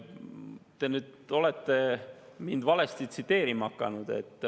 Te olete mind nüüd valesti tsiteerima hakanud.